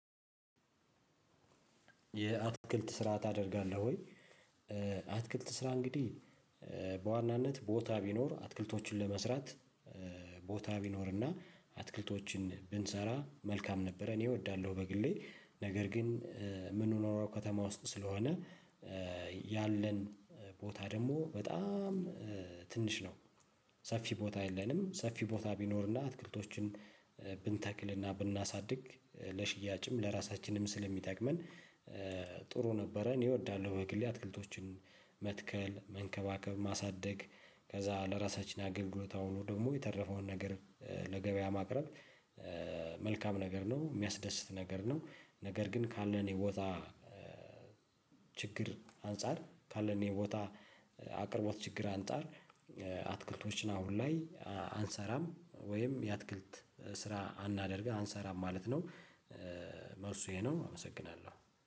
የአትክልት ስራ ታደርጋለህ ወይ? አትክልት ስራ እንግዲህ ቦታ ቢኖር አትክልቶችን ለመስራት ቦታ ቢኖር እና አትክልቶችን ብንሰራ መልካም ነበረ እኔ እወዳለው። በግሌ ነገር ግን ምንኖረው ከተማ ውስጥ ስለሆነ ያለን ቦታ ደግሞ በጣም ትንሽ ነው። ሰፊ ቦታ የለንም ሰፊ ቦታ ቢኖርና አትክልቶችን ብንተክልና ብናሳድግ ለሽያጭም ለራሳችንም ስለሚጠቅመን ጥሩ ነበረ እኔ እወዳለሁ። በግሌ አትክልቶችን መትከል መንከባከብ ማሳደግ ከዛ ለራሳችን አገልግሎት አውሎ ደግሞ የተረፈውን ነገር ለገበያ ማቅረብ። መልካም ነገር ነው የሚያስደስት ነገር ነው። ነገር ግን ካለን የቦታ ችግር አንፃር ካለን የቦታ አቅርቦት ችግር አንፃር። አትክልቶችን አሁን ላይ አንሰራም ወይም የአትክልት ስራ አናደርግም አንሰራም ማለት ነው። መልሱ ይሄ ነው አመሰግናለሁ